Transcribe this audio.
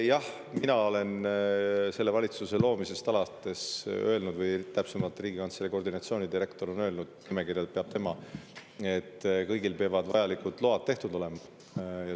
Jah, mina olen selle valitsuse loomisest alates öelnud, või täpsemalt, Riigikantselei koordinatsioonidirektor on öelnud – nimekirja peab tema –, et kõigil peavad vajalikud load tehtud olema.